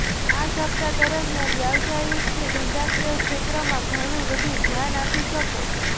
આ સપ્તાહ દરમિયાન વ્યાવસાયિક કે ધંધાકીય ક્ષેત્રમાં ઘણું વધુ ધ્યાન આપી શકો